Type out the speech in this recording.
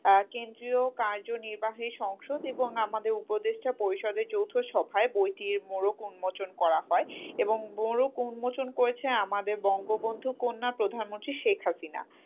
আহ কেন্দ্রীয় কার্যনির্বাহী সংসদ এবং আমাদের উপদেষ্টা পরিষদের যৌথ সভায় বইটির মোড়ক উন্মোচন করা হয়, এবং মোড়ক উন্মোচন করেছেন আমাদের বঙ্গবন্ধু কন্যা প্রধানমন্ত্রী শেখ হাসিনা,